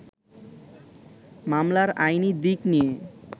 মামলার আইনি দিক নিয়ে